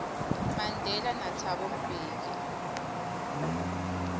mandela nathabo mbeki